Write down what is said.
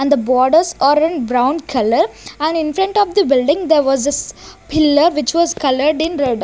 and the borders are in brown colour and in front of the building there was pillar which was coloured in red.